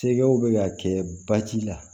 Sɛgɛw bɛ ka kɛ basi la